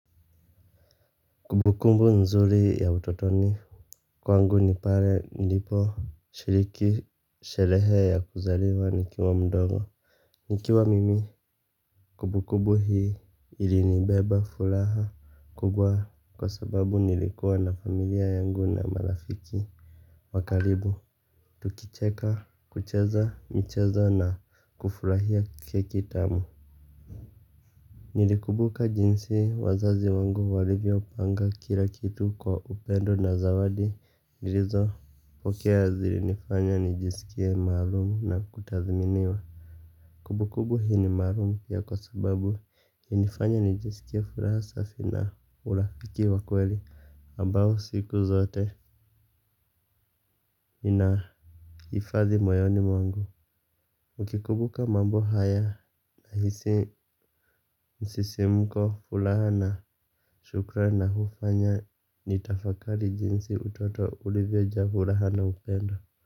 Kumbukumbu nzuri ya utotoni. Kwangu ni pale nilipo shiriki sherehe ya kuzaliwa nikiwa mdogo. Nikiwa mimi kumbukumbu hii ili nibeba furaha kubwa kwa sababu nilikuwa na familia yangu na marafiki. Wakaribu tukicheka kucheza mchezo na kufurahia keki tamu. Nilikumbuka jinsi wazazi wangu walivyo panga kila kitu kwa upendo na zawadi nilizo pokea zilinifanya nijisikie maalum na kutathminiwa. Kumbukumbu hii ni maalumu ya kwa sababu hunifanya nijisikie furaha safi na urafiki wa kweli ambao siku zote ina hifadhi moyoni mwangu nikikumbuka mambo haya nahisi msisimko furaha na shukra na hufanya nitafakali jinsi utoto uliveja fulahana ukendo.